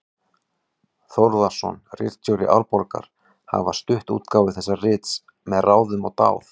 Þórðarson, ritstjóri Árbókar, hafa stutt útgáfu þessa rits með ráðum og dáð.